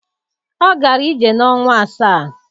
Ọ gara ije n'ọnwa asaa